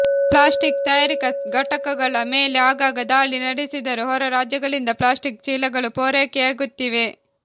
plastic ತಯಾರಿಕಾ ಘಟಕಗಳ ಮೇಲೆ ಆಗಾಗ ದಾಳಿ ನಡೆಸಿದರೂ ಹೊರ ರಾಜ್ಯಗಳಿಂದ ಪ್ಲಾಸ್ಟಿಕ್ ಚೀಲಗಳು ಪೂರೈಕೆಯಾಗುತ್ತಿವೆ